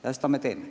Ja seda me teeme.